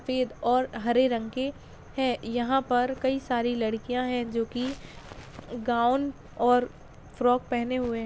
सफ़ेद और हरे रंग के हैं यहाँ पर कई सारी लड़कियाँ हैं जोकि गाउन और फ्रॉक पहने हुए हैं।